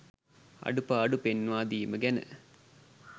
අඩුපාඩු පෙන්නා දීම ගැන.